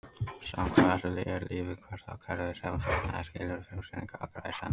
Samkvæmt þessu er líf hvert það kerfi sem fullnægir skilyrðum frumsetninganna, allra í senn.